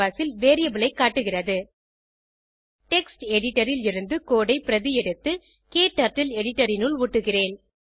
canvas ல் variable ஐ காட்டுகிறது டெக்ஸ்ட் எடிட்டர் ல் இருந்து கோடு ஐ பிரதி எடுத்து க்டர்ட்டில் எடிட்டர் இனுள் ஒட்டுகிறேன்